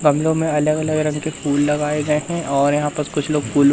गमलों में अलग अलग रंग के फूल लगाए गए हैं और यहां पर कुछ लोग फूल--